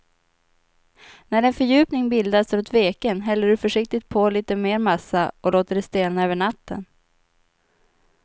När en fördjupning bildats runt veken häller du försiktigt på lite mer massa och låter det stelna över natten.